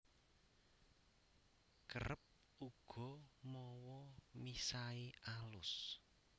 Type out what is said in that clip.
Kerep uga mawa misai alus